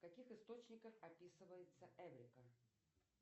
в каких источниках описывается эврика